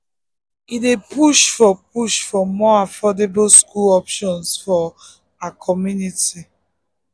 he dey push for push for more affordable school options for her community.